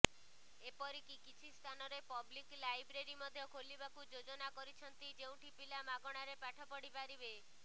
ଏପରିକି କିଛି ସ୍ଥାନରେ ପ୍ଲବିକ ଲାଇବ୍ରେରୀ ମଧ୍ୟ ଖୋଲିବାକୁ ଯୋଜନା କରିଛନ୍ତି ଯେଉଁଠି ପିଲା ମାଗଣାରେ ପାଠ ପଢିପାରିବେ